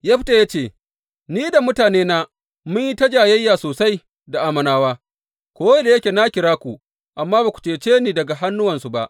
Yefta ya ce, Ni da mutanena mun yi ta jayayya sosai da Ammonawa, ko da yake na kira ku, amma ba ku cece ni daga hannuwansu ba.